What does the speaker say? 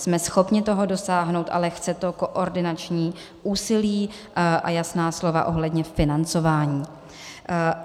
Jsme schopni toho dosáhnout, ale chce to koordinační úsilí a jasná slova ohledně financování.